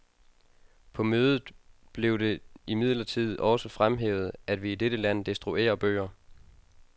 På mødet blev det imidlertid også fremhævet, at vi i dette land destruerer bøger.